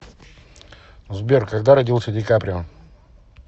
сбер когда родился ди каприо